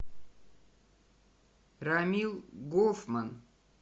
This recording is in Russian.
рамил гофман